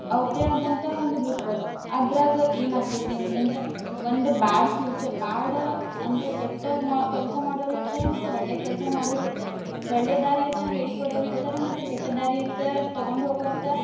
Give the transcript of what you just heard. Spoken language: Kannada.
ಅವರ್ದೆ ಆದಂತ ಒಂದು group ಅದ್ರಾಗ ಏನ್ ಆಕೇತಿ ಅಂತಂದ್ರ ಒಂದ್ bad future bad ಅಂದ್ರ ಕೆಟ್ಟದ್ ಮಾ~ ಕೆಲ್ಸಾ ಮಾಡೋರು ಇರ್ತಾರ ಮತ್ತ್ ಒಳ್ಳೇ ಕೆಲ್ಸಾ ಮಾಡೋರು ಇರ್ತಾರ. ಒಳ್ಳೆ ದಾರಿಯತ್ತ ಹೇಳ್ಕೊಡೋರು ಇರ್ತಾರಾ ಮತ್ತ ಕೆಟ್ಟ ದಾರಿಯತ್ತ ತಗೊಂಡ್ ಹೋಗುವಂತ.